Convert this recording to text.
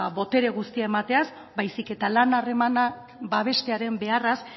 botere guztia emateaz baizik eta lan harremanak babestearen beharraz